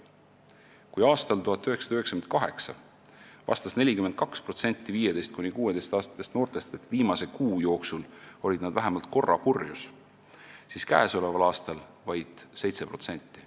Kui aastal 1998 vastas 42% 15–16-aastastest noortest, et viimase kuu jooksul olid nad vähemalt korra purjus olnud, siis käesoleval aastal oli selliseid noori vaid 7%.